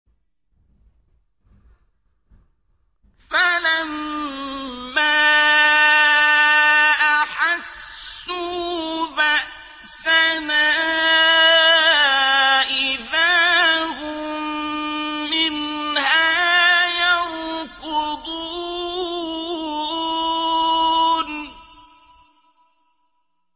فَلَمَّا أَحَسُّوا بَأْسَنَا إِذَا هُم مِّنْهَا يَرْكُضُونَ